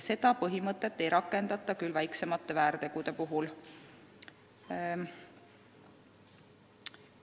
Seda põhimõtet ei rakendata küll väiksemate väärtegude puhul.